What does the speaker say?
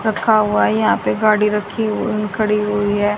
रखा हुआ यहां पे गाड़ी रखी हुई खड़ी हुई है।